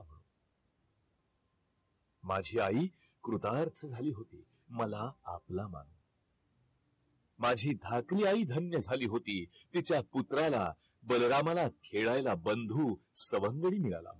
माझी आई कृतार्थ झाली होती मला आपला मानून माझी धाकली आई धन्य झाली होती तिच्या पुत्राला बलरामाला खेळायला बंधू सवंगडी मिळाला होता.